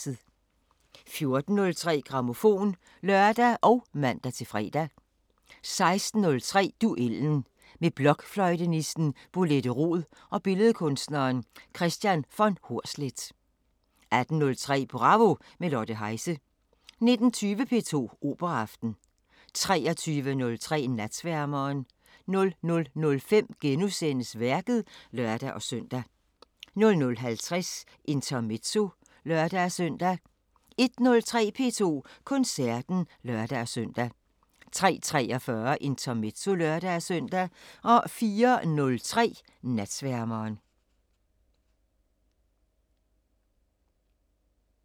14:03: Grammofon (lør og man-fre) 16:03: Duellen – med blokfløjtenisten Bolette Roed og billedkunstneren Kristian von Hornsleth 18:03: Bravo – med Lotte Heise 19:20: P2 Operaaften 23:03: Natsværmeren 00:05: Værket *(lør-søn) 00:50: Intermezzo (lør-søn) 01:03: P2 Koncerten (lør-søn) 03:43: Intermezzo (lør-søn) 04:03: Natsværmeren